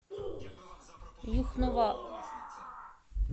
юхнова